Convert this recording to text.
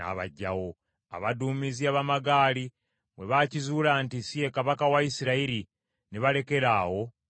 Abaduumizi ab’amagaali bwe baakizuula nti si ye kabaka wa Isirayiri, ne balekeraawo okumugoba.